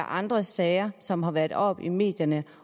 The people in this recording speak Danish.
andre sager som har været oppe i medierne